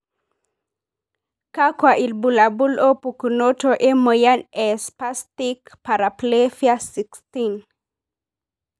kakwa ilbulabul opukunoto emoyian e spastic paraplefia 16?